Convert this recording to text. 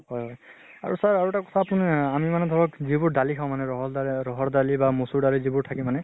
হয় হয়। আৰু sir, আৰু এটা কথা আপোনি আহ আমি মানে ধৰক যিবোৰ দালি খাওঁ মানে ৰহল দালি ৰহৰ দালি বা মচুৰ দালি যিবোৰ থাকে মানে